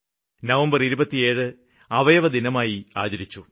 November 27 അവയവദാനദിനമായി ആചരിച്ചു